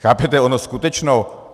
Chápete, ono skutečně...